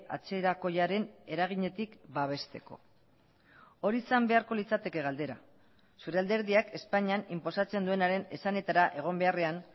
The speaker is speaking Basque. atzerakoiaren eraginetik babesteko hori izan beharko litzateke galdera zure alderdiak espainian inposatzen duenaren esanetara egon beharrean